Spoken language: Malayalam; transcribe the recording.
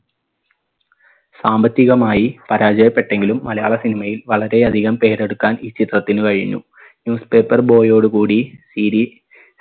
സാമ്പത്തികമായി പരാജയപ്പെട്ടുവെങ്കിലും മലയാള cinema യിൽ വളരെ അധികം പേരെടുക്കാൻ ഈ ചിത്രത്തിനു കഴിഞ്ഞു newspaper boy ഓടു കൂടി series